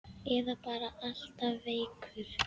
Eða bara alltaf veikur.